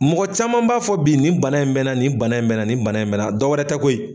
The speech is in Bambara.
Mɔgɔ caman b'a fɔ bi nin bana in bɛ n na, nin bana in bɛ n na, nin bana in bɛ n na dɔ wɛrɛ tɛ koyi,